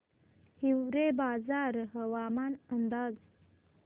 हिवरेबाजार हवामान अंदाज